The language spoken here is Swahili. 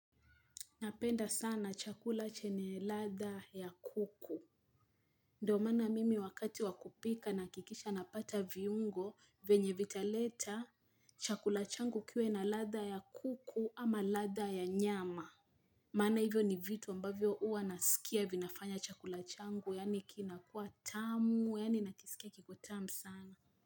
Napenda sana chakula chenye ladha ya kuku. Ndio maana mimi wakati wa kupika nahakikisha napata viungo venye vitaleta chakula changu kiwe na ladha ya kuku ama ladha ya nyama. Maana hivyo ni vitu ambavyo huwa nasikia vinafanya chakula changu yaani kinakuwa tamu yaani nakisikia kiko tamu sana.